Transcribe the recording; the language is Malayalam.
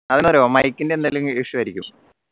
അതെന്താറിയോ mike ന്റെ എന്തേലും issue ആയിരിക്കും